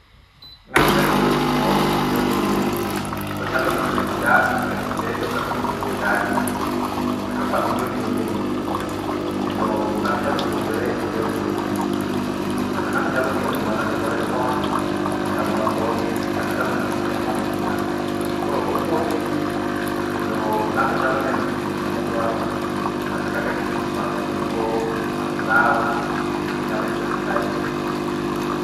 Ng'ato nyalo yudo puonjruok e yor mbuini, onyalo ng'eyo kaka ji dak, kaka ji tedo, kaka ji onego odagi, kaka familia onego obedi kendo ng'ato nyalo puonjore eyor mbuini. Kata ng'ato nyalo ng'eyo gima ne otimore chon endalo mathoth kata ndalo machien manokia. Koro opuonjoji, kendo ng'ato nyalo neno kipindi n ne modwaro kata kaka kipindi mag tugo, mag dhaw, ng'ato nyalo yudogi kae tee.